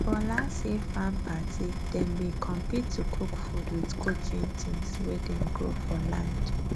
for last year farm party dem bin compete to cook food with cooking things wey dem grow for land